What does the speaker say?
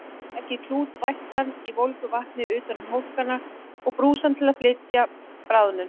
Leggið klút vættan í volgu vatni utan um hólkana og brúsann til að flýta bráðnun.